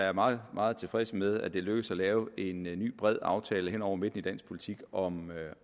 er meget meget tilfredse med at det er lykkedes at lave en ny ny bred aftale hen over midten i dansk politik om